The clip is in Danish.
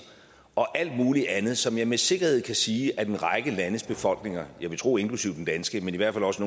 og alt muligt andet som jeg med sikkerhed kan sige at en række landes befolkninger jeg vil tro inklusive den danske men i hvert fald også